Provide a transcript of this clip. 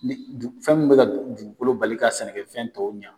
Ni fɛn min bɛ ka dugukolo bali ka sɛnɛkɛfɛn tɔw ɲɛ